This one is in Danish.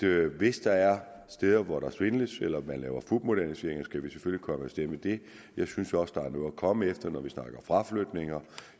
hvis der er steder hvor der svindles eller man laver fupmoderniseringer skal vi selvfølgelig komme efter det jeg synes også at der er noget at komme efter når vi snakker fraflytninger